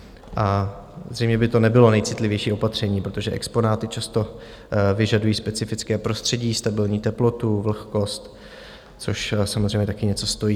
A zřejmě by to nebylo nejcitlivější opatření, protože exponáty často vyžadují specifické prostředí, stabilní teplotu, vlhkost, což samozřejmě taky něco stojí.